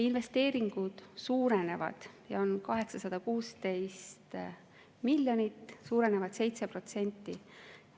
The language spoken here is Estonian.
Investeeringud suurenevad: need on 816 miljonit, suurenevad 7%.